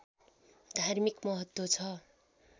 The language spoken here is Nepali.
धार्मिक महत्त्व छ